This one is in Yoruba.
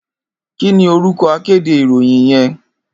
Kini órúkò àkédé iróyìn yèn?